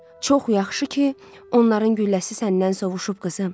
"Çox yaxşı ki, onların gülləsi səndən sovuşub, qızım.